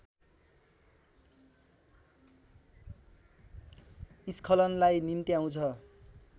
स्खलनलाई निम्त्याउँछ